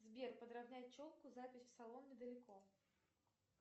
сбер подравнять челку запись в салон недалеко